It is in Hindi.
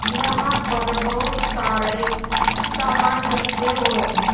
यहां पर बहुत सारे सामान रखें हुए हैं।